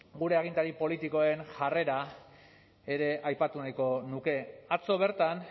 gure agintari politikoen jarrera ere aipatu nahiko nuke atzo bertan